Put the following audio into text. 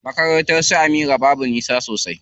Makarnatar su Amira babu nisa sosai.